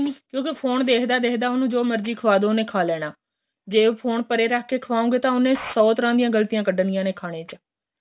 ਕਿਉਂਕਿ ਫੋਨ ਦੇਖਦਾ ਦੇਖਦਾ ਉਹਨੂੰ ਜੋ ਮਰਜੀ ਖਵਾਦੋ ਉਹਨੇ ਖਾਂ ਲੇਣਾ ਜ਼ੇ ਉਹ ਫੋਨ ਪਰੇ ਰੱਖ ਕੇ ਖਵਾਉਗੇ ਤਾਂ ਉਹਨੇ ਸੋ ਤਰ੍ਹਾਂ ਦੀਆਂ ਗ਼ਲਤੀਆਂ ਕੱਢਨੀਆਂ ਨੇ ਖਾਣੇ ਚ